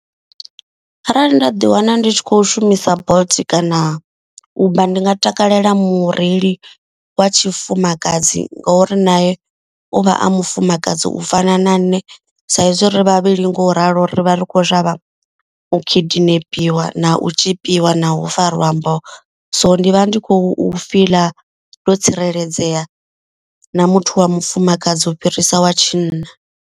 Arali nda ḓi wana ndi tshi kho shumisa bolt kana uber. Ndi nga takalela mureili wa tshifumakadzi ngori naye u vha a mufumakadzi u fana na nṋe. Saizwi ri vhavhili ngo ralo ri vha ri khou shavha u kidnapiwe na u tzhipiwa na u fariwa mboho. So ndi vha ndi khou fiḽa ndo tsireledzea na muthu wa mufumakadzi u fhirisa wa tshinna.